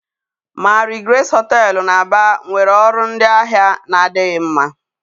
Marigrace hoteelu na Aba nwere ọrụ ndị ahịa na-adịghị mma.